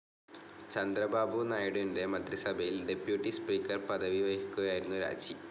ചന്ദ്രബാബു നായിഡുവിന്റെ മന്ത്രിസഭയിൽ deputy speaker പദവി വഹിക്കവെയായിരുന്നു രാജി.